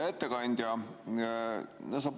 Hea ettekandja!